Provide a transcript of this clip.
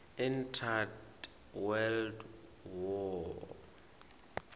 entered world war